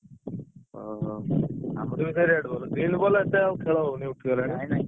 ଓହୋ! ଆମର ବି ଏଠି red ball green ball ଏତେ ଆଉ ଖେଳ ହଉନି ଉଠିଗଲାଣି ।